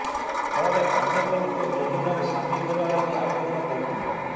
ଫଳରେ ଅନେକ ଲୋକ ଯୋଜନାରେ ସାମିଲ ହେବା ଲାଗି ଆବେଦନ କରୁଛନ୍ତି